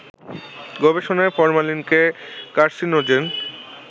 গবেষণায় ফরমালিনকে কার্সিনোজেন